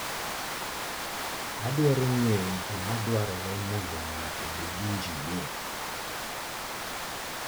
Adwaro ng'eyo gima dwarore mondo ng'ato obed injinia?